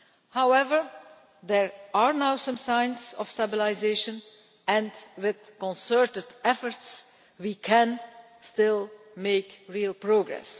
However, there are now some signs of stabilisation, and with concerted efforts we can still make real progress.